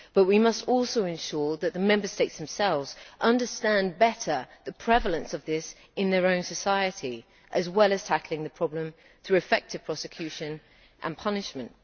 But we must also ensure that the Member States themselves understand better the prevalence of this in their own society, as well as tackling the problem through effective prosecution and punishment.